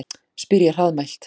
spyr ég hraðmælt.